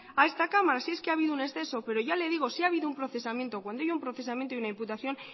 a esta cámara si es que ha habido un exceso pero ya le digo si ha habido un procesamiento cuando hay un procesamiento y una imputación